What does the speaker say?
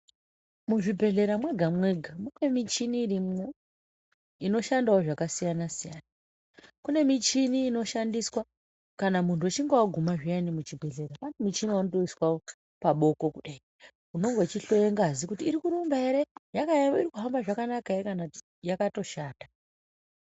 Muzvibhedhleya mwega mwega mune muchini irimwo inoshandawo zvakasiyana -siyana kune muchini inoshandiswa kana munhu uchinge waguma zviyani kuchibhedhleya pane muchina waunotoiswa paboko kudai unenge uchihloiwa ngazi iri kurumba ere kana yakaema iri kuhamba zvakanaka ere kana yakatoshata.